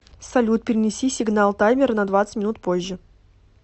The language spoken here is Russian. салют перенеси сигнал таймера на двадцать минут позже